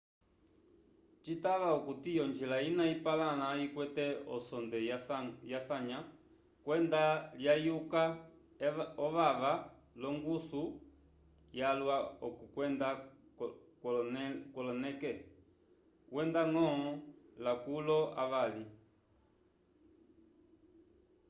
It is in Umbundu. citava okuti onjila ina ipalãla ikwete osonde yasanya kwenda lyayuka evava l'ongusu yalwa k'okwenda kwoloneke wenda-ñgo lakulu avali